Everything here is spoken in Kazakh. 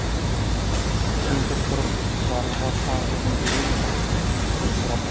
кемпір тұрып жарлыға хан қызын бере ме деп сұрапты